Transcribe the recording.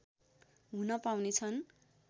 हुन पाउनेछन्